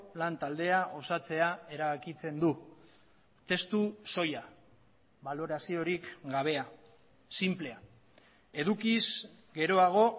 lantaldea osatzea erabakitzen du testu soila baloraziorik gabea sinplea edukiz geroago